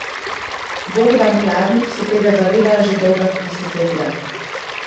Bogdan Kladnik se tega zaveda že dolga desetletja.